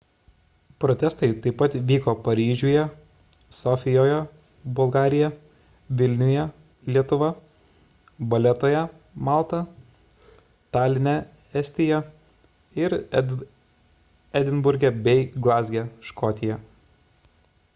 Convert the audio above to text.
protestai taip pat vyko paryžiuje sofijoje bulgarija vilniuje lietuva valetoje malta taline estija ir edinburge bei glazge škotija